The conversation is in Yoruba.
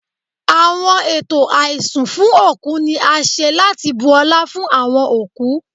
Awọn eto aisun fun oku ni a ṣe lati bu ọla fun awọn okú